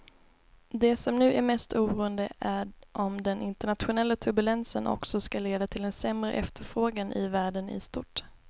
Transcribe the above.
Det som nu är mest oroande är om den internationella turbulensen också ska leda till en sämre efterfrågan i världen i stort.